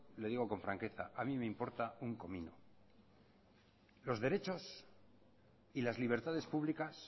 lo digo con franqueza a mí me importa un comino los derechos y las libertades públicas